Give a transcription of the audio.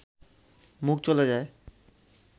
মুখ চলে যায়